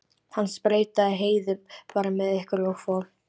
Hann sprautaði Heiðu bara með einhverju og fór.